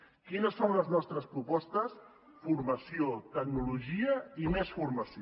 quines són les nostres propostes formació tecnologia i més formació